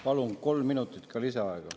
Palun kolm minutit lisaaega.